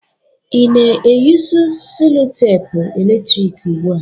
Ị na-eyusu selutepu eletrik ugbu a?